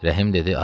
Rəhim dedi: